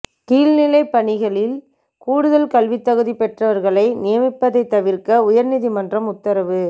கீழ்நிலைப் பணிகளில் கூடுதல் கல்வித் தகுதி பெற்றவா்களை நியமிப்பதை தவிா்க்க உயா்நீதிமன்றம் உத்தரவு